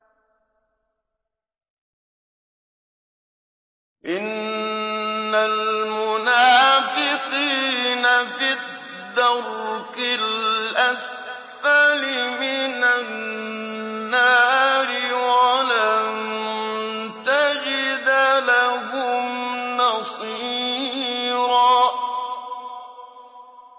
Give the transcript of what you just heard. إِنَّ الْمُنَافِقِينَ فِي الدَّرْكِ الْأَسْفَلِ مِنَ النَّارِ وَلَن تَجِدَ لَهُمْ نَصِيرًا